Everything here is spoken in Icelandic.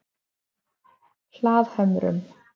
Hlaðhömrum